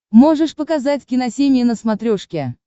можешь показать киносемья на смотрешке